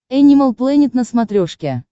энимал плэнет на смотрешке